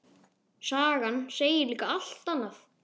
Sagan segir líka allt annað.